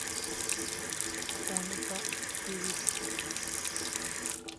оника певица